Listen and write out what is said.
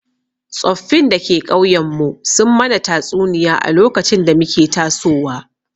Tsoffin da ke ƙauyen mu sun mana tatsuniya a lokacin da muke tasowa